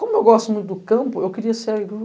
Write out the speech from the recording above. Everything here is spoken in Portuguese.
Como eu gosto muito do campo, eu queria ser